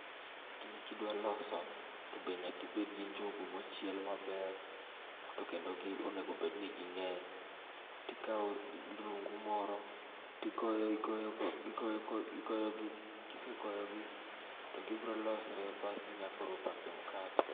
Gini kidwa loso tobe nyaka ibedgi njugu mochiel maber. Tokendo gi onengo bedni ging'eny. Tikawo rungu moro tigoyo igoyo tigoyo igoyogi kisegoyogi to gibro losre basto inya koro pake mukate.